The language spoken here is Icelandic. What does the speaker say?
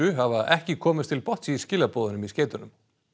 hafa ekki komist til botns í skilaboðunum í skeytunum